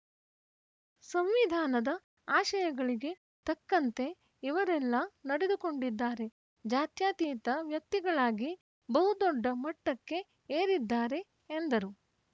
ಸಂವಿಧಾನದ ಆಶಯಗಳಿಗೆ ತಕ್ಕಂತೆ ಇವರೆಲ್ಲ ನಡೆದುಕೊಂಡಿದ್ದಾರೆ ಜಾತ್ಯಾತೀತ ವ್ಯಕ್ತಿಗಳಾಗಿ ಬಹುದೊಡ್ಡ ಮಟ್ಟಕ್ಕೆ ಏರಿದ್ದಾರೆ ಎಂದರು